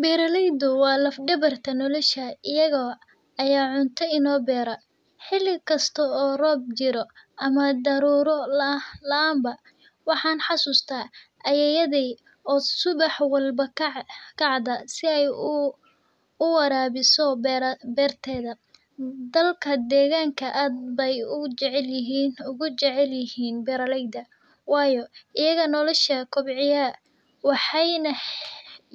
Beeraleyda waa lad dabarka nolisha ayaga ayaa cuntada noo beera waxan xasuusta ayeeydey oo subax walbo kacada si aay uwarabiso beeraheysa waxaay